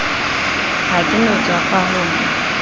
ha ke no tswafa ho